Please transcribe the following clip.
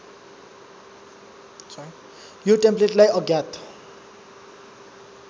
यो टेम्प्लेटलाई अज्ञात